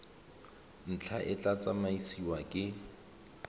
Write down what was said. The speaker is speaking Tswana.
ntlha e tla tsamaisiwa ke